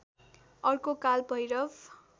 अर्को काल भैरव